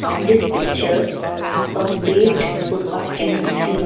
In this picture a footpath can be seen.